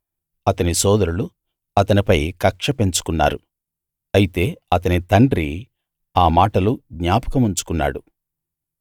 అతని సోదరులు అతనిపై కక్ష పెంచుకున్నారు అయితే అతని తండ్రి ఆ మాటలు జ్ఞాపకం ఉంచుకున్నాడు